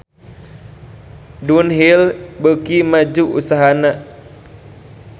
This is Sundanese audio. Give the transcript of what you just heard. Dunhill beuki maju usahana